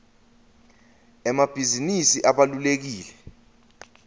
emabhizinisi abalulekile